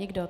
Nikdo.